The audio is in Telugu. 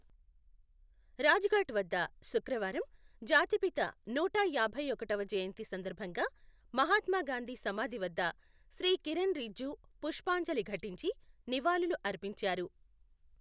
రాజఘాట్ వద్ద శుక్రవారం జాతిపిత నూట యాభై ఒకటవ జయంతి సందర్బంగా మహాత్మాగాంధీ సమాధి వద్ద శ్రీ కిరణ్ రిజ్జూ పుష్పాంజలి ఘటించి నివాళులు అర్పించారు.